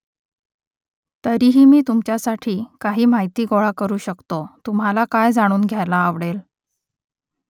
तरीही मी तुमच्यासाठी काही माहिती गोळा करू शकतो तुम्हाला काय जाणून घ्यायला आवडेल ?